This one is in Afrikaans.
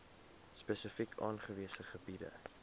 spesifiek aangewese gebiede